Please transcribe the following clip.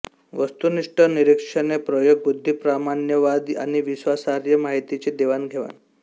वस्तुनिष्ठ निरीक्षणे प्रयोग बुद्धिप्रामाण्यवाद आणि विश्वासार्ह माहितीची देवाणघेवाण